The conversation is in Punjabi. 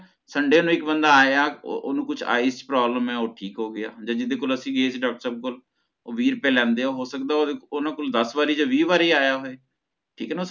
sunday ਨੂੰ ਇਕ ਬੰਦਾ ਆਇਆ ਉਹ ਓਹਨੂੰ ਕੁਝ eyes problem ਹੈ ਓਹ ਠੀਕ ਹੋਗ੍ਯਾ ਤੇ ਜਿਦੇ ਕੋਲ ਅਸੀਂ ਗਏ ਸੀਗੇ doctor ਸਾਹਿਬ ਕੋਲ ਓਹ ਵੀਹ ਰੁਪਏ ਲੇਂਦੇ ਹੈ ਹੋ ਸਕਦਾ ਹੈ ਓਹਨਾ ਕੋਲ ਦਸ ਵਾਰੀ ਜਾ ਵੀਹ ਵਾਰੀ ਆਇਆ ਹੋਏ ਠੀਕ ਆ ਨਾ